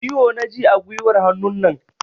Ciwo na ji a guiwar hannunan.